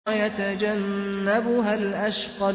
وَيَتَجَنَّبُهَا الْأَشْقَى